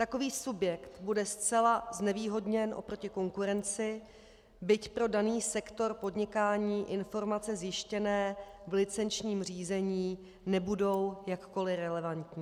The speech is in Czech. Takový subjekt bude zcela znevýhodněn oproti konkurenci, byť pro daný sektor podnikání informace zjištěné v licenčním řízení nebudou jakkoli relevantní.